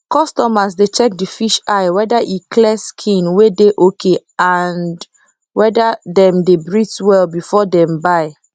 customers dey check the fish eye whether e clear skin wey dey ok and hwhther them dey breathe well before dem buy